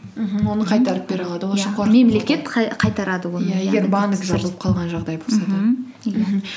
мхм оны қайтарып бере алады ол үшін қайтарады жабылып қалған жағдай мхм иә